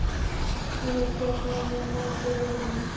Og ég tek með mér mold úr jörðinni.